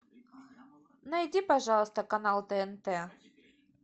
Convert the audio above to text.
найди пожалуйста канал тнт